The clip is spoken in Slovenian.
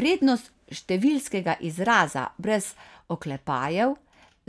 Vrednost številskega izraza brez oklepajev